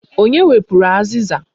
Onye wepụrụ azịza?